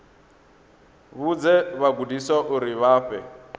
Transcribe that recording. vhudze vhagudiswa uri vha fhe